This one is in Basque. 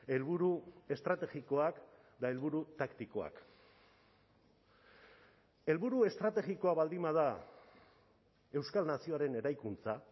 helburu estrategikoak eta helburu taktikoak helburu estrategikoa baldin bada euskal nazioaren eraikuntza